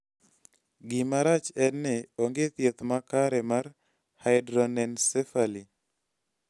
gima rach enni onge thieth makare mar hydranencephaly